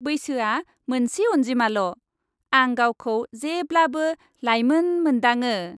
बैसोआ मोनसे अन्जिमाल'। आं गावखौ जेब्लाबो लाइमोन मोनदाङो।